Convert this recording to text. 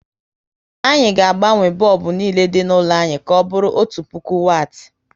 Anyị ga agbanwe bọlbụ niile dị n'ụlọ anyị ka ọbụrụ otu puku wati